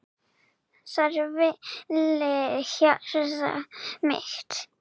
Þar hvílir hjarta mitt.